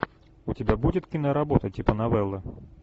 у тебя будет киноработа типа новеллы